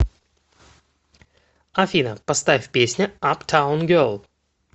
афина поставь песня аптаун гел